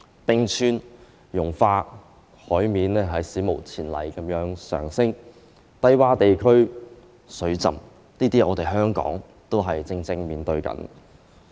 冰川融化，海面史無前例地上升，低窪地區水浸，這也是香港正在面對的情況。